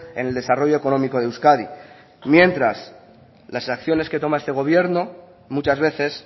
en el desarrollo económico de euskadi mientras las acciones que toma este gobierno muchas veces